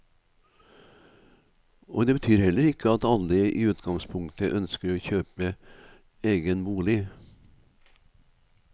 Og det betyr heller ikke at alle i utgangspunktet ønsker å kjøpe egen bolig.